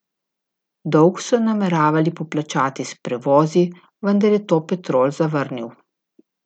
Dolg so nameravali poplačati s prevozi, vendar je to Petrol zavrnil.